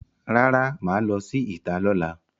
Rara, maa lo si ita lola.